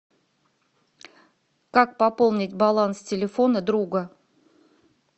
как пополнить баланс телефона друга